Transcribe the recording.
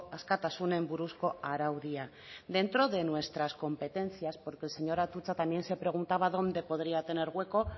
askatasunen buruzko araudia dentro de nuestras competencias porque el señor atutxa también se preguntaba dónde podría tener hueco